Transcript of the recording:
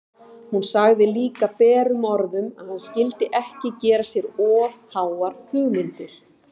Hún sagði líka berum orðum að hann skyldi ekki gera sér of háar hugmyndir!